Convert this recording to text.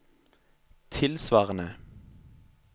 tilsvarende